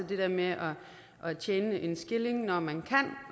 det der med at tjene en skilling når man